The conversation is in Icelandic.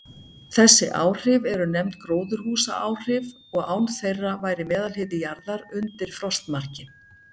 Þessi áhrif eru nefnd gróðurhúsaáhrif, og án þeirra væri meðalhiti jarðar undir frostmarki.